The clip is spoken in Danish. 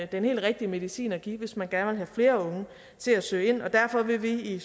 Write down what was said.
den helt rigtige medicin at give hvis man gerne flere unge til at søge ind og derfor vil vi i